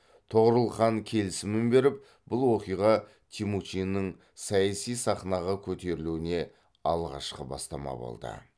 тоғорыл хан келісімін беріп бұл оқиға темучиннің саяси сахнаға көтерілуіне алғашқы бастама болды